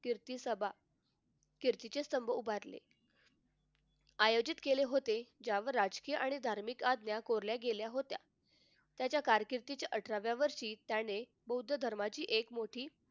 कीर्ती सभा कीर्तीचे स्तंभ उभारले आयोजित केले होते त्यावर राजकीय आणि धार्मिक आज्ञा कोरल्या गेल्या होत्या. त्याच्या कारकिर्दीच्या अठराव्या वर्षी त्याने बौद्ध धर्माची एक मोठी